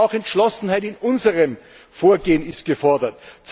Aber auch Entschlossenheit in unserem Vorgehen ist gefordert.